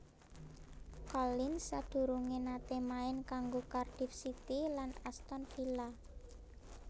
Collins sadurungé naté main kanggo Cardiff City lan Aston Villa